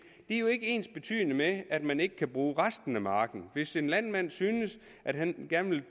er jo ikke ensbetydende med at man ikke kan bruge resten af marken hvis en landmand synes at han gerne vil